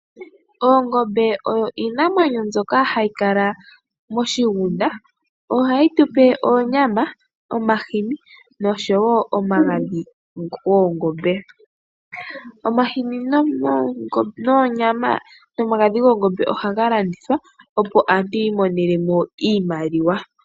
Oongombe odho iinamwenyo mbyoka hayi kala moshigunda, noha dhi tu pe oonyama, omahini noshowo omagadhi goongombe. Iinima ayihe mbika ohayi landithwa opo aantu yi imonene mo oshimaliwa.